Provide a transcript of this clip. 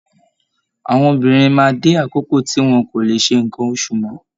Àwọn obìnrin máa dé àkókò tí wọn kò lé sé nkán oṣù mọ.